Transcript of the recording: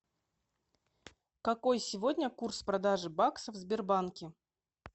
какой сегодня курс продажи баксов в сбербанке